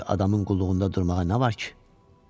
Belə bir adamın qulluğunda durmağa nə var ki?